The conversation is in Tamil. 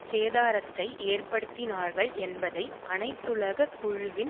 சேதாரத்தை ஏற்படுத்தினார்கள் என்பதை அனைத்துலக குழுவின்